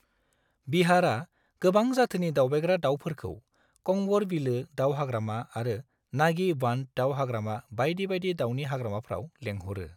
बिहारआ गोबां जाथोनि दावबायग्रा दाउफोरखौ कंवर बिलो दाउ हाग्रामा आरो नागी बांध दाउ हाग्रामा बायदि बायदि दाउनि हाग्रामाफ्राव लेंहरो।